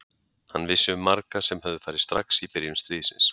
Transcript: Hann vissi um marga sem höfðu farið strax í byrjun stríðsins.